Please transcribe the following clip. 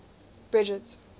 bridget